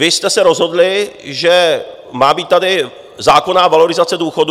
Vy jste se rozhodli, že má být tady zákonná valorizace důchodů.